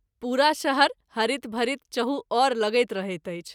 पुरा शहर हरित भरित चहु ओर लगैत रहैत अछि।